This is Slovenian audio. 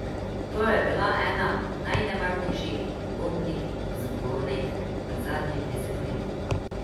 To je bila ena najnevarnejših bombnih zagonetk v zadnjem desetletju.